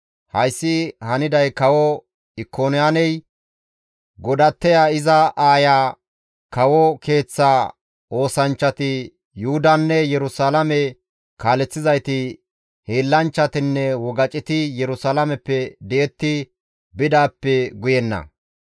Hayssi haniday kawo Ikoniyaaney, godatteya iza aaya, kawo keeththa oosanchchati, Yuhudanne Yerusalaame kaaleththizayti, hiillanchchatinne wogaceti Yerusalaameppe di7etti bidaappe guyenna.